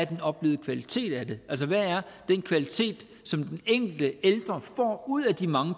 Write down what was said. den oplevede kvalitet af det altså hvad er den kvalitet som den enkelte ældre får ud af de mange